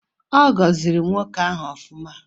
Ogoziri nwoke ahu ofuma?